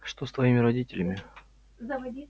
что с твоими родителями